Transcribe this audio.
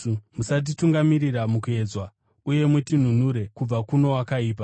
Musatitungamirira mukuedzwa, uye mutinunure kubva kuno wakaipa.’